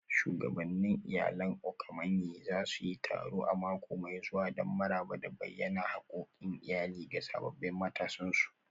Shugabannin Iyalan Okomanyi za su yi taro a mako mai zuwa don maraba da bayyana hakkokin iyali ga sabbin matansu